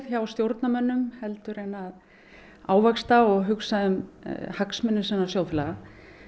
hjá stjórnarmönnum en að ávaxta og hugsa um hagsmuni sinna sjóðfélaga